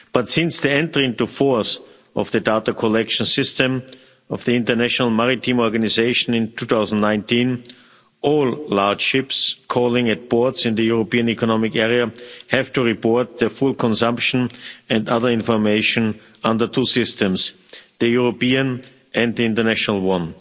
Since the entry into force of the data collection system of the International Maritime Organization in 2019, all large ships calling at ports in the European Economic Area have to report their full consumption and other information under two systems the European and the international one.